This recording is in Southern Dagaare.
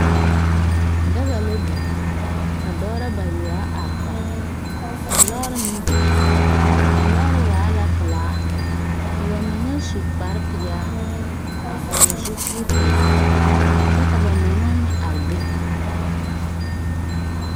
Daga la biŋ ka dɔbɔ bayoɔbo la are kɔge ka lɔɔre meŋ biŋ a lɔɔre waa la pelaa ka ba mine su kpare peɛle a vɔgle zupili pelaa kyɛ ka ba mine meŋ are be.